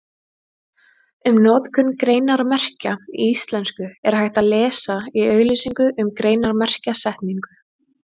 Um notkun greinarmerkja í íslensku er hægt að lesa í auglýsingu um greinarmerkjasetningu.